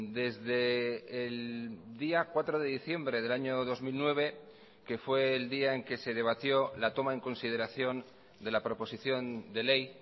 desde el día cuatro de diciembre del año dos mil nueve que fue el día en que se debatió la toma en consideración de la proposición de ley